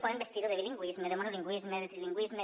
poden vestir ho de bilingüisme de monolingüisme de trilingüisme